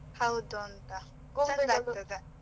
ಹೌದು ಅಂತ .